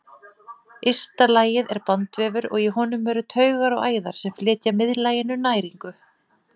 Ysta lagið er bandvefur og í honum eru taugar og æðar sem flytja miðlaginu næringu.